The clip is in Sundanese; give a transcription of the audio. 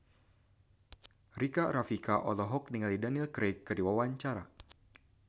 Rika Rafika olohok ningali Daniel Craig keur diwawancara